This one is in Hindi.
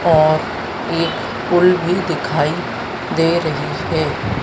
और एक फूल भी दिखाई दे रही है।